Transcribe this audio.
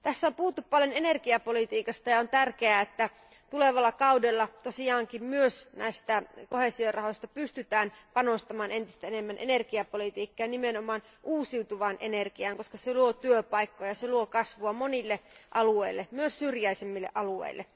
Tässä on puhuttu paljon energiapolitiikasta ja on tärkeää, että tulevalla kaudella tosiaankin myös näistä koheesiorahoista pystytään panostamaan entistä enemmän energiapolitiikkaan ja nimenomaan uusiutuvaan energiaan, koska se luo työpaikkoja, se luo kasvua monille alueille, myös syrjäisemmille alueille.